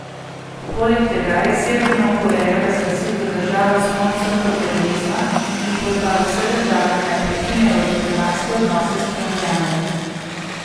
Poleg tega je Severno Korejo razglasil za državo sponzorko terorizma in pozval vse države, naj prekinejo diplomatske odnose s Pjongjangom.